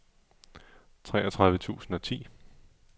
treogtredive tusind og ti